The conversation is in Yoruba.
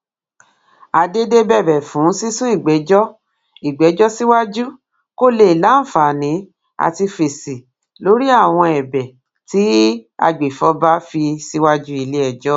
àdédé bẹbẹ fún sísún ìgbẹjọ ìgbẹjọ síwájú kó lè láǹfààní àti fèsì lórí àwọn ẹbẹ tí agbèfọba fi síwájú iléẹjọ